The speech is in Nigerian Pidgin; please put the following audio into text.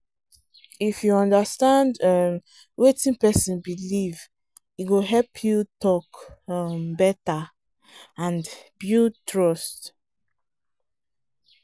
if you understand um wetin person believe e go help you talk um better and build trust.